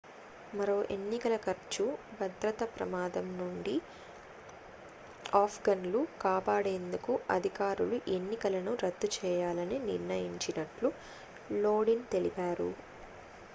మరో ఎన్నికల ఖర్చు భద్రత ప్రమాదం నుండి ఆఫ్ఘన్లు కాపాడేందుకు అధికారులు ఎన్నికలను రద్దు చేయాలని నిర్ణయించినట్లు లోదిన్ తెలిపారు